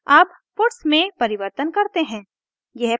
अब puts में परिवर्तन करते हैं